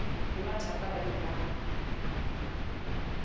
le mathaka ba ne ba